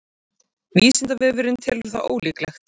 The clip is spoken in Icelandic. vísindavefurinn telur það ólíklegt